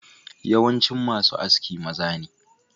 Yawancin masu Aski maza ne.